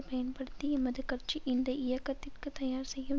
பயன்படுத்தி எமது கட்சி இந்த இயக்கத்திற்கு தயார் செய்யும்